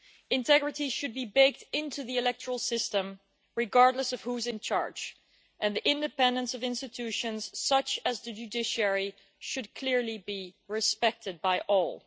Integrity should be baked into the electoral system, regardless of who is in charge and the independence of institutions such as the judiciary should clearly be respected by all.